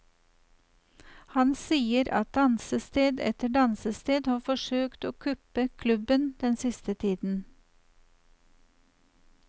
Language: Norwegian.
Han sier at dansested etter dansested har forsøkt å kuppe klubben den siste tiden.